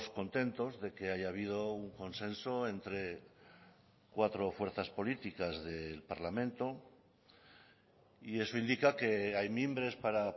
contentos de que haya habido un consenso entre cuatro fuerzas políticas del parlamento y eso indica que hay mimbres para